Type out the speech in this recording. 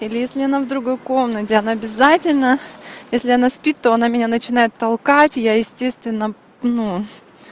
или если она в другой комнате она обязательно если она спит то она меня начинает толкать я естественно ну